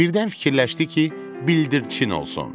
Birdən fikirləşdi ki, bildirçin olsun.